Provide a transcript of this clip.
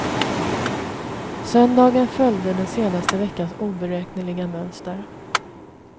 Söndagen följde den senaste veckans oberäkneliga mönster.